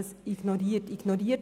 diese wurden ignoriert.